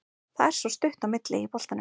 Það er svo stutt á milli í boltanum.